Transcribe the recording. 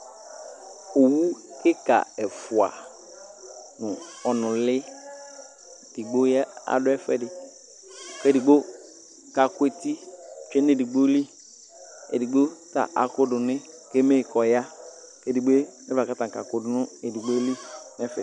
owukika ɛfua nu ɔnuli digbo adu ɛfuɛdi kuedigbo kakueti tsue nu edigboli edigbo ta akuduni kueme kɔya ku edigbo ta kaku du nu edigboli nɛfɛ